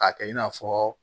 K'a kɛ i n'a fɔ